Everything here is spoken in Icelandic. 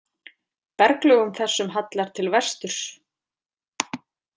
Berglögum þessum hallar til vesturs.